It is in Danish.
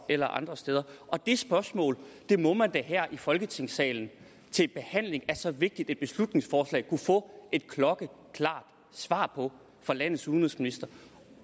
eller andre steder det spørgsmål må man da her i folketingssalen til behandling af så vigtigt et beslutningsforslag kunne få et klokkeklart svar på fra landets udenrigsminister